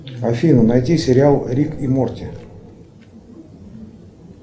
афина найди сериал рик и морти